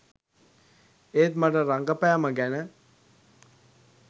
ඒත් මට රඟපැම ගැන